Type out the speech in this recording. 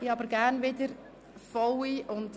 Es ist eine schöne Abstimmung: